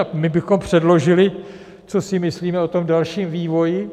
A my bychom předložili, co si myslíme o tom dalším vývoji.